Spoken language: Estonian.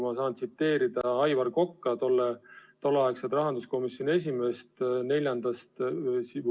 Ma tahan tsiteerida Aivar Kokka, endist rahanduskomisjoni esimeest.